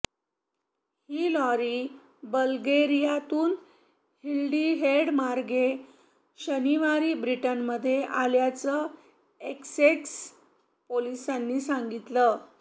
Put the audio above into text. ही lorry बल्गेरियातून हॉलिहेडमार्गे शनिवारी ब्रिटनमध्ये आल्याचं एसेक्स पोलिसांनी सांगितलं